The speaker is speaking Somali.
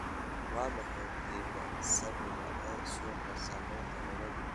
Waa maxay qiimaha saamiga ee suuqa saamiyada nairobi?